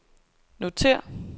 notér